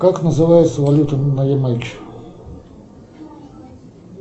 как называется валюта на ямайке